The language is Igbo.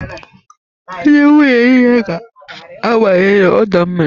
Ndị nwunye niile ga-abanye n'ọdọ mmiri